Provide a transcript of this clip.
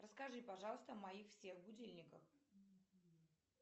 расскажи пожалуйста о моих всех будильниках